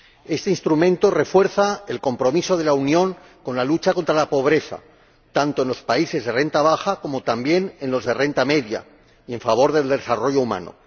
Este Instrumento refuerza el compromiso de la Unión con la lucha contra la pobreza, tanto en los países de renta baja como, también, en los de renta media y en favor del desarrollo humano.